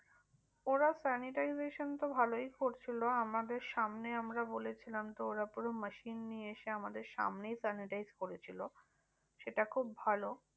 ওরা sanitization তো ভালোই করছিলো। আমাদের সামনে আমরা বলেছিলাম তো ওরা পুরো machine নিয়ে এসে আমাদের সামনেই sanitize করেছিলো। সেটা খুব ভালো